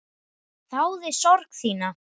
Þáði sorg þína.